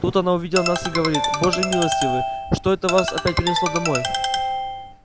тут она увидела нас и говорит боже милостивый что это вас опять принесло домой